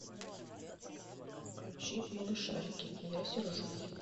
включи малышарики я сержусь